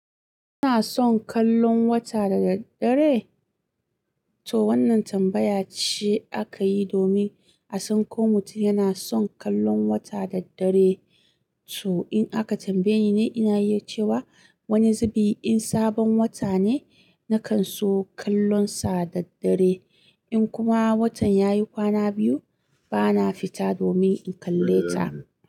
Ina son kallon wata da daddare? To wannan tambaya ce aka yi domin a san ko mutum yana son kallon wata da daddare. To in aka tambaye ni ne, ina iya cewa wani zubi in sabon wata ne, nakan so kallon sa da daddare. In kuma watan ya yi kwana biyu, bana fita domin in kalle ta.